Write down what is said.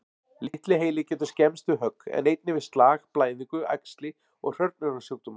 Litli heili getur skemmst við högg, en einnig við slag, blæðingu, æxli og hrörnunarsjúkdóma.